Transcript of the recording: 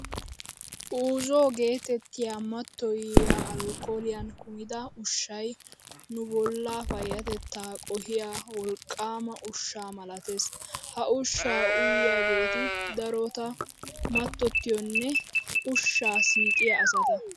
Uuzoo geetettiyaa mattoyiyaa alkkooliyaan kumida ushshayii nubollaa payyatettaa qohiyaa wolqqaama ushsha malatees. Ha ushshaa uyiyaageeti darotoo mattottiyaanne ushshaa siiqiyaa asata.